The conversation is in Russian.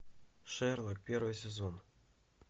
шерлок первый сезон